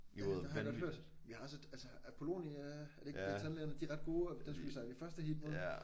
Jamen det har jeg godt hørt vi har også et altså Apollonia er det ikke det tandlægerne de er ret gode og dem skal vi sejle i første heat mod